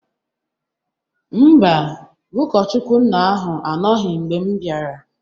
Mba, ụkọchukwuna ahụ anọghị mgbe m bịara